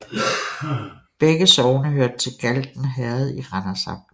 Begge sogne hørte til Galten Herred i Randers Amt